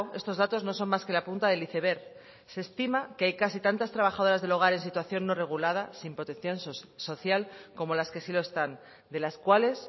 estos datos no son más que la punta del iceberg se estima que hay casi tantas trabajadoras del hogar en situación no regulada sin protección social como las que sí lo están de las cuales